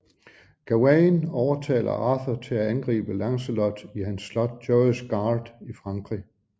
Gawain overtaler Arthur til at angribe Lancelot i hans slot Joyous Gard i Frankrig